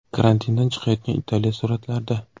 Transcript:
Karantindan chiqayotgan Italiya suratlarda.